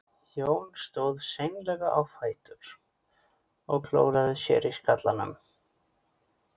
Jón stóð seinlega á fætur og klóraði sér í skallanum.